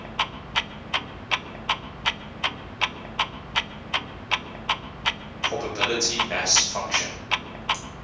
probability mass function